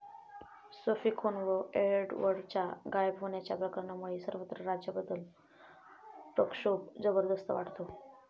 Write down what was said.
Sophie खून व एडवर्डच्या गायब होण्याच्या प्रकरणामुळे सर्वत्र राजाबद्दल प्रक्षोभ जबरदस्त वाढतो.